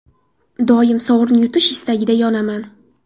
Doim sovrin yutish istagida yonaman.